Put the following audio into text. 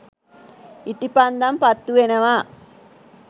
ඉටිපන්දම් පත්තුවෙනවා.